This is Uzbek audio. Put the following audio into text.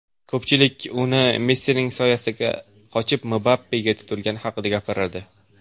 Ko‘pchilik uni Messining soyasidan qochib, Mbappega tutilgani haqida gapiradi.